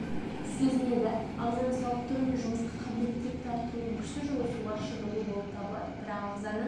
сезіненді ағзаны сауықтыру мен жұмысқа қабілеттілікті арттырудың күшті жолы суға шынығу болып табылады бірақ ағзаны